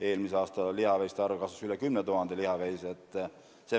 Eelmisel aastal lihaveiste arv kasvas, üle 10 000 tuli juurde.